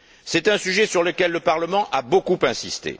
C'est un sujet sur lequel le Parlement a beaucoup insisté.